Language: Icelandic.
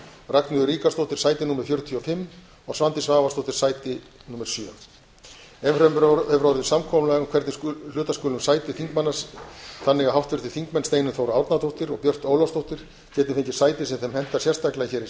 ragnheiður ríkharðsdóttir sæti fjörutíu og fimm og svandís svavarsdóttir sæti sjö enn fremur hefur orðið samkomulag um hvernig hluta skuli um sæti þingmanna þannig að háttvirtir þingmenn steinunn þóra árnadóttir og björt ólafsdóttir geti fengið sæti sem þeim hentar sérstaklega hér í